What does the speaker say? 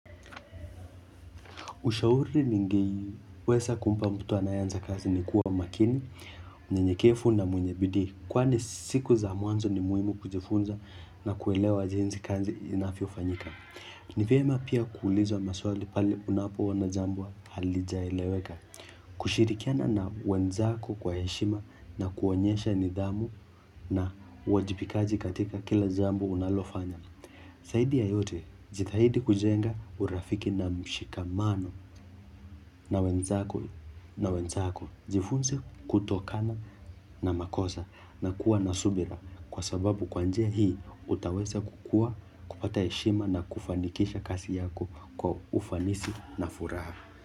Ushauri ningeweza kumpa mtu anayeanza kazi ni kuwa makini, mnyenyekevu na mwenye bidii. Kwani siku za mwanzo ni muhimu kujifunza na kuelewa jinsi kazi inavyofanyika. Ni vyema pia kuuliza maswali pahali unapoona jambo halijaeleweka. Kushirikiana na wenzako kwa heshima na kuonyesha nidhamu na uwajibikaji katika kila jambo unalofanya. Zaidi ya yote jitahidi kujenga urafiki na mshikamano na wenzako jifunze kutokana na makosa na kuwa na subira kwa sababu kwa njia hii utaweza kukua kupata heshima na kufanikisha kazi yako kwa ufanisi na furaha.